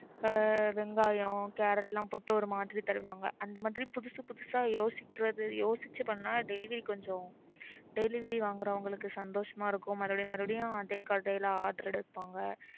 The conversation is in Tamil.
ஆஹ் வெங்காயம் கேரட் லாம் போட்டு ஒரு மாதிரி தருவாங்க அந்த மாதிரி புதுசு புதுசா யோசிக்கறது யோசிச்சு பண்ணா delivery கொஞ்சம் delivery வாங்கறவங்களுக்கு சந்தோசமா இருக்கும் மறுபடி மறுபடியும் அதே கடைல order எடுப்பாங்க